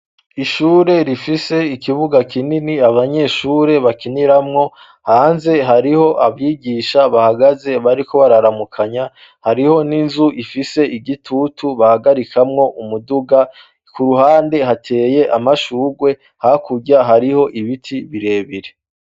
Ishure rifise ikibuga kinini abanyeshure bakiniramwo; hanze hariho abigisha bahagaze bariko bararamukanya, hariho n'inzu ifise igitutu bahagarikamwo umuduga; ku ruhande hateye amashurwe, hakurya hariho ibiti birebire.